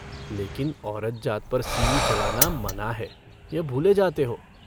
लेकिन औरत जात पर सींग चलाना मना है, यह भूले जाते हो।